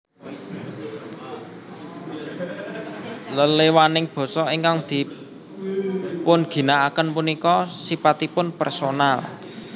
Leléwaning basa ingkang dipunginaaken punika sipatipun personal